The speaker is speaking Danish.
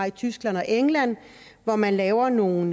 i tyskland og england hvor man laver nogle